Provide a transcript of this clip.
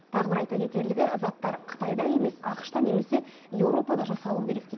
тағы бір айта кетерлігі заттар қытайда емес ақш та немесе еуропада жасалу керек дейді